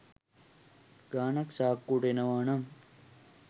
ගානක් සාක්කුවට එනවා නම්